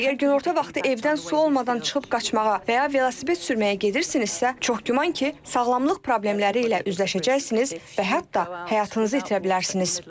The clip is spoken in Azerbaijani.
Əgər günorta vaxtı evdən su olmadan çıxıb qaçmağa və ya velosiped sürməyə gedirsinizsə, çox güman ki, sağlamlıq problemləri ilə üzləşəcəksiniz və hətta həyatınızı itirə bilərsiniz.